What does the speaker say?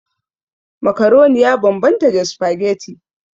Macaroni ya bambanta da spaghetti.